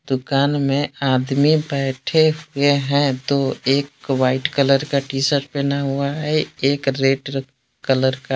दुकान में आदमी बैठे हुए हैं दो। एक वाइट कलर का टी सर्ट पहने हुआ है एक रेड कलर का।